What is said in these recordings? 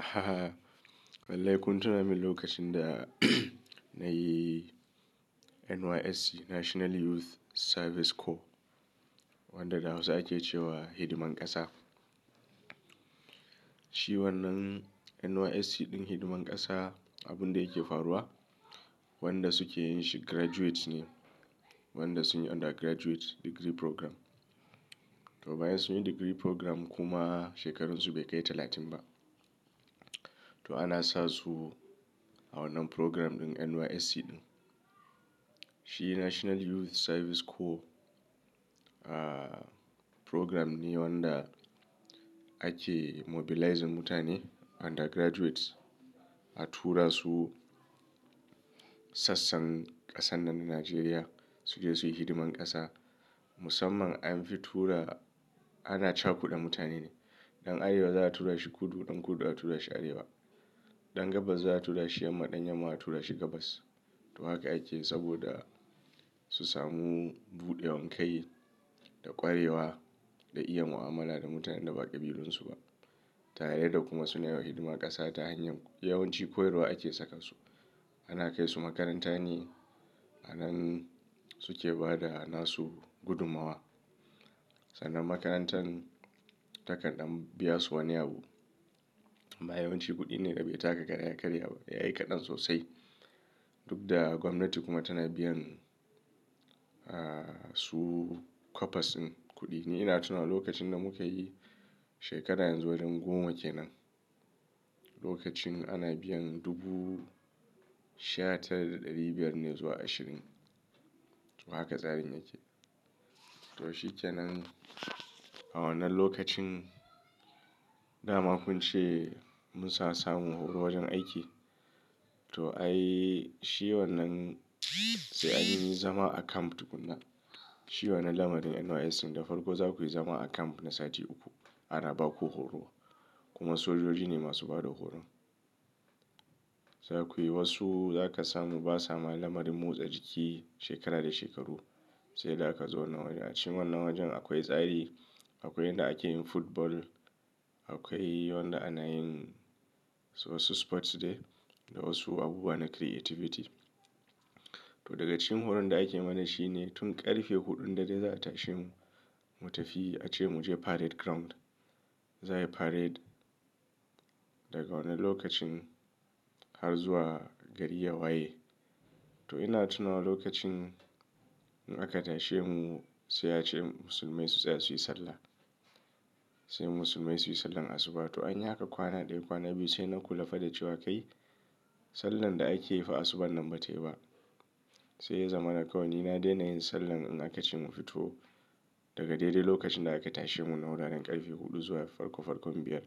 Aha! Wallahi kun tuna min lokacin da na yi NYSC National Youth Service Corps wanda da hausa ake cewa hidiman ƙasa. Shi wannan NYSC ɗin hidiman ƙasa abun da yake faruwa, wanda suke yin shi graduates ne. Wanda sun yi undergraduate degree programme. To bayan sun yi degree programme kuma shekarun su bai kai talatin ba. To ana sa su a wannan programme ɗin NYSC ɗin. Shi National Youth Service Corps, ah, programme ne wanda ake mobilizing mutane undergraduates a tura su sassan ƙasar nan Najeriya su je su yi hidiman ƙasa. Musamman an fi tura, ana cakuda mutane ne. Ɗan Arewa za a tura shi kudu, ɗan kudu a tura shi arewa. Ɗan gabas za a tura shi yamma, ɗan yamma a tura shi gabas. To haka ake saboda su samu buɗewar kai da ƙwarewa da iya mu'amala da mutanen da ba ƙabilun su ba. Tare da kuma suna yiwa hidima ƙasa ta hanyar yawanci koyarwa ake saka su. Ana kai su makaranta ne, a nan suke bada nasu gudumawa. Sannan makarantan takan dan biya su wani abu. Amma yawanci kuɗi ne da bai taka kara ya ƙarya ba, yayi kaɗan sosai. Duk da gwamnati kuma tana biyan, ah, su kwapas ɗin kuɗi ne. Ina tuna lokacin da muka yi shekarar yanzu wajen goma kenan. Lokacin ana biyan dubu sha tara da ɗari biyar ne zuwa ashirin. To haka tsarin yake. To shi kenan a wannan lokacin, dama kun ce mun sa samu horo wajen aiki. To ai shi wannan sai anyi zama a camp tukuna. Shi wannan lamarin NYSC da farko za ku yi zama a camp na sati uku, ana baku horo. Kuma sojoji ne masu bada horon. Za ku yi wasu za ka samu ba sa ma lamarin motsa jiki shekara da shekaru. Sai dai aka zo wannan wajen. A cikin wannan wajen akwai tsari, akwai inda ake yin football, akwai wanda ana yin wasu sports dai da wasu abubuwa na creativity. To daga cikin horon da ake mana shi ne tun ƙarfe huɗun dare za a tashe mu, mu tafi a ce mu je parade ground. Za a yi parade daga wannan lokacin har zuwa gari ya waye. To ina tuna lokacin in aka tashe mu sai a ce musulmai su tsaya su yi sallah. Sai musulmai su yi sallah asuba. To anyi haka kwana ɗaya, kwana biyu sai na kula fa da cewa kai sallah da ake yi fa asubar nan bata yi ba. Sai ya zamana kawai ni na daina yin sallah in aka ce mu fito daga daidai lokacin da aka tashe mu na wuraren ƙarfe huɗu zuwa farko farkon biyar.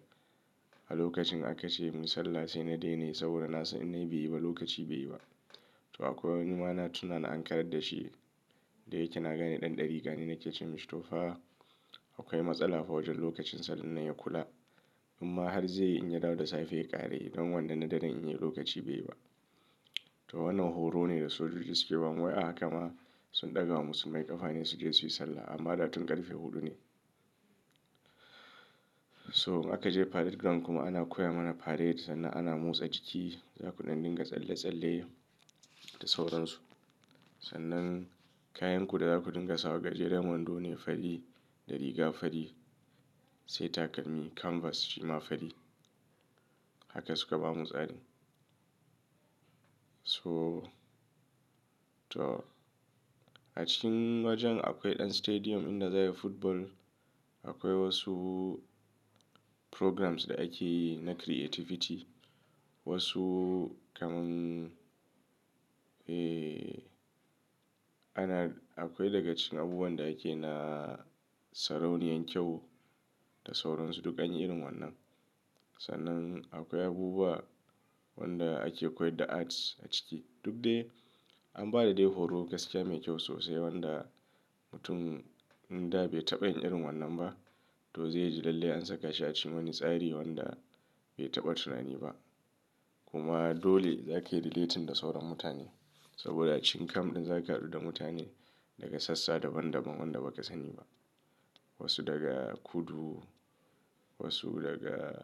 A lokacin aka ce mu yi sallah sai na daina yi saboda na san in na yi bai yi ba lokaci bai yi ba. To akwai wani ma na tuna an kayadda shi. Da yake na gane ɗan ɗarika ne nake cewa to fa akwai matsala fa wajen lokacin sallah nan ya kula. Amma har zai yi in ya dawo da safe ya ƙara yi don wannan na daren in ya yi lokaci bai yi ba. To wannan horo ne da sojoji suke ba mu. Wai a haka ma sun ɗaga mu musulmai ƙafa ne su je su yi sallah amma da tun ƙarfe huɗu ne. So aka je parade ground kuma ana koya mana parade sannan ana motsa jiki. Za kuɗan dinga tsalle tsalle da sauran su. Sannan kayan ku da za ku dinga sa wa gajeren wando ne fari da riga fari sai takalmi canvas shi ma fari. Haka suka ba mu tsari. So to a cikin wajen akwai ɗan stadium inda za'a yi football. Akwai wasu programmes da ake yi na creativity. Wasu kaman, eh, ana, akwai daga cikin abubuwan da ake na sarauniyar kyau da sauran su duk anyi irin wannan. Sannan akwai abubuwa wanda ake koyar da arts a ciki. Duk dai an bada dai horo gaskiya mai kyau sosai wanda mutum da bai taɓa yin irin wannan ba to zai ji lalle an saka shi a cikin wani tsari wanda bai taɓa tunani ba. Kuma dole za ka yi relating da sauran mutane saboda a cikin camp ɗin za ka haɗu da mutane daga sassa daban daban wanda ba ka sani ba. Wasu daga kudu wasu daga.